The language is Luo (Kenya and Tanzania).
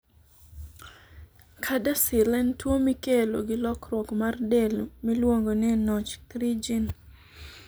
CADASIL en tuwo mikelo gi lokruok mar del miluongo ni NOTCH3 gene.